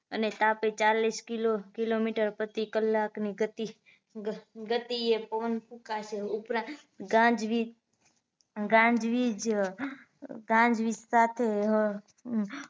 અને તાપી ચાલીસ kilo kilometre પ્રતિકલાક ની ગતિ ગતિએ પવન ફૂંકાશે ઉપરાંત ગાજ્વીજ ગાજ્વીજ અ ગાજ્વીજ સાથે હ